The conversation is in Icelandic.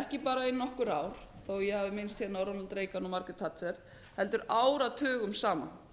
ekki bara í nokkur ár þó ég hafi minnst hér á ronald reagan og margaret thatcher heldur áratugum saman